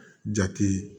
Jate